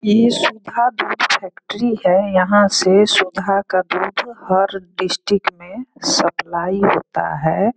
ये सुधा दूध फैक्ट्री है। यहाँ से सुधा का दूध हर डिस्ट्रिक्ट में सप्लाई होता है।